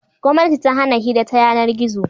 Gwamnati ta hana hira ta yanar-gizo.